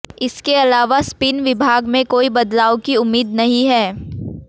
इसके अलावा स्पिन विभाग में कोई बदलाव की उम्मीद नहीं है